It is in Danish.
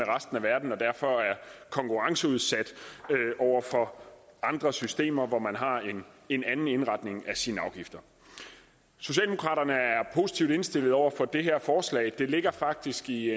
resten af verden og derfor er konkurrenceudsat over for andre systemer hvor man har en anden indretning af sine afgifter socialdemokraterne er positivt indstillet over for det her forslag det ligger faktisk i